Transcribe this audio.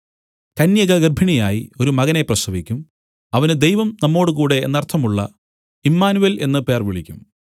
കന്യക ഗർഭിണിയായി ഒരു മകനെ പ്രസവിക്കും അവന് ദൈവം നമ്മോടുകൂടെ എന്നർത്ഥമുള്ള ഇമ്മാനുവേൽ എന്നു പേർ വിളിക്കും